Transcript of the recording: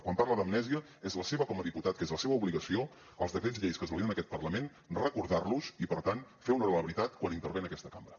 quan parla d’amnèsia és la seva com a diputat que és la seva obligació els decrets lleis que es validen en aquest parlament recordar los i per tant fer honor a la veritat quan intervé en aquesta cambra